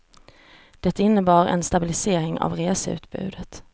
Det innebär en stabilisering av reseutbudet.